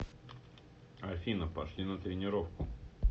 афина пошли на тренировку